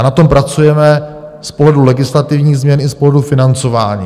A na tom pracujeme z pohledu legislativních změn i z pohledu financování.